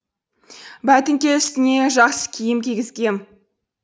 бәтіңке үстіне жақсы киім кигізгем